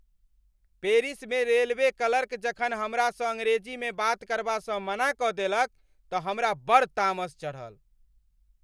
पेरिसमे railway clerk जखन हमरासँ अंग्रेजीमे बात करबासँ मना कऽ देलक तँ हमरा बड़ तामस चढ़ल।